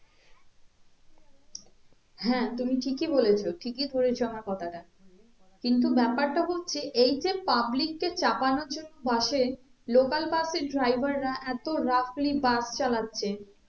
হ্যাঁ তুমি ঠিকই বলেছো ঠিকই ধরেছো আমার কথাটা কিন্তু ব্যাপারটা হচ্ছে এই যে public কে চাপানোর জন্য bus এ local bus এর driver রা এতো roughly bus চালাচ্ছে